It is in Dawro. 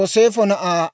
Aaseera 41,500;